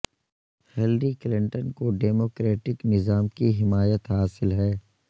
Hillary Clinton کو ڈیموکریٹک نظام کی حمایت حاصل ہے